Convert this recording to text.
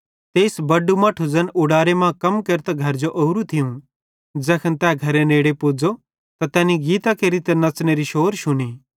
तेइस बड़ू मट्ठू ज़ैन उडारे मां कम केरतां घरजो ओरू थियूं ज़ैखन तै घरे नेड़े पुज़ो त तैनी गीतां केरि त नच़नेरी शौर शुनी